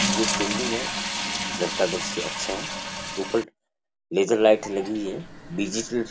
ये एक बिल्डिंग है घर का दृश्य अच्छा है ऊपर लेजर लाइट लगी हुई है डिजिटल --